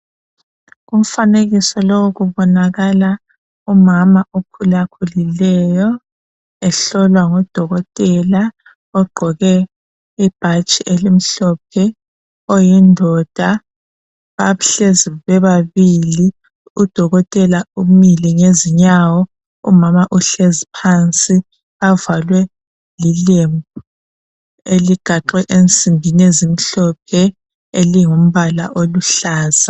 Kumfanekiso lowu kubonakala umama okhulakhulileyo ehlolwa ngudokotela ogqoke ibhatshi elimhlophe oyindoda bahlezi bebabili. Udokotela umile ngezinyawo. Umama uhlezi phansi bavalwe lilembu eligaxwe ensimbini ezimhlophe elilombala oluhlaza.